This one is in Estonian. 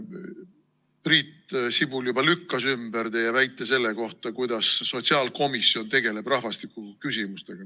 Priit Sibul juba lükkas ümber teie väite selle kohta, kuidas sotsiaalkomisjon tegeleb rahvastikuküsimustega.